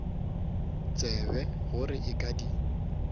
tsebe gore a ka di